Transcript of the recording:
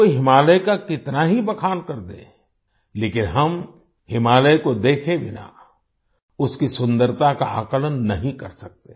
कोई हिमालय का कितना ही बखान कर दे लेकिन हम हिमालय को देखे बिना उसकी सुन्दरता का आकलन नहीं कर सकते